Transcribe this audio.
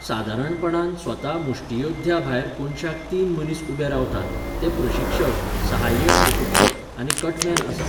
सादारणपणान, स्वता मुश्टीयोद्धया भायर कोनशाक तीन मनीस उबे रावतात, ते प्रशिक्षक, सहाय्यक प्रशिक्षक आनी कटमॅन आसात.